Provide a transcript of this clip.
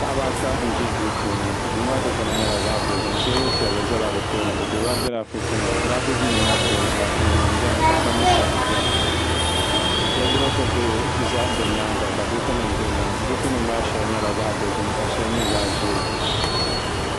Paɣaba ata n zo duu puuni duu maa dukpuni nyɛla zaɣi dozim tɛɛbuli piɛlli zala bi tooni ni gbubila grafiti nima grafit nima maa puuni anfooni nimbɛni ka sabibu sabibu bɛni wodurop bihi za bi yɛanga ka buku nima bɛ dini buku nɔŋa shɛli nyɛla zaɣi dozim ka shɛli nyɛ zaɣi ʒee.